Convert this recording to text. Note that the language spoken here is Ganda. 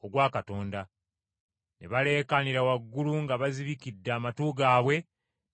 Ne baleekaanira waggulu nga bazibikidde amatu gaabwe ne bamweyiwako.